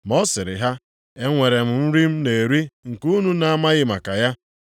Ma ọ sịrị ha, “Enwere m nri m na-eri nke unu na-amaghị maka ya.”